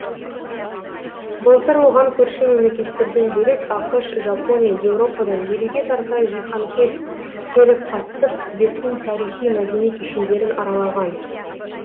былтыр оған көрші мемлекеттерден бөлек ақш жапония еуропадан елуге тарта жиһанкез келіп қатысып түбектің тарихи мәдени кешендерін аралаған